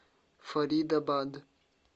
фаридабад